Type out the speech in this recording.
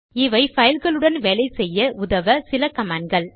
இவை பைல்களுடன் வேலை செய்ய உதவ சில கமாண்ட் கள்